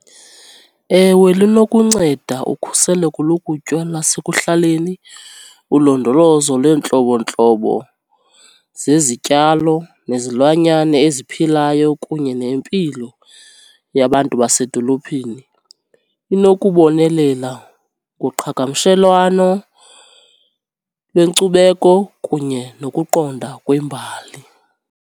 Ewe linokunceda ukhuseleko lokutya lasekuhlaleni, ulondolozo lweentlobontlobo zezityalo nezilwanyana eziphilayo kunye nempilo yabantu basedolophini. Inokubonelela ngoqhagamshelwano lwenkcubeko kunye nokuqonda kwembali.